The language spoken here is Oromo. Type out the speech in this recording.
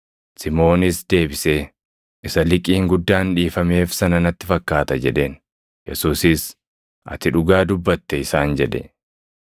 Simoonis deebisee, “Isa liqiin guddaan dhiifameef sana natti fakkaata” jedheen. Yesuusis, “Ati dhugaa dubbatte” isaan jedhe.